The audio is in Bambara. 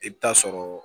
I bɛ taa sɔrɔ